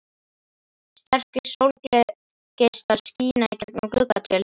Sterkir sólargeislar skína í gegnum gluggatjöldin.